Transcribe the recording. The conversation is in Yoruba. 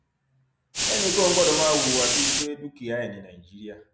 ẹnìkan ò gbọdọ máa hùwà bíi pé dúkìá ẹ ní nàìjíríà